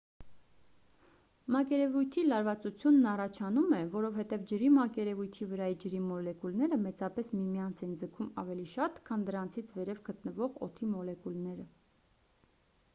մակերևույթի լարվածությունն առաջանում է որովհետև ջրի մակերևույթի վրայի ջրի մոլեկուլները մեծապես միմյանց են ձգում ավելի շատ քան դրանցից վերև գտնվող օդի մոլեկուլները